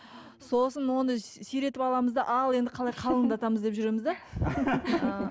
сосын оны сиретіп аламыз да ал енді қалай қалыңдатамыз деп жүреміз де